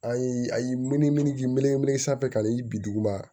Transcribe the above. A ye a ye miniji sanfɛ ka na i bi duguma